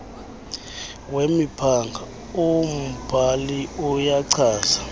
wemiphanga umbhali uyachaza